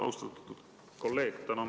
Austatud kolleeg!